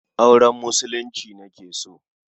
Auren Musulunci nake so.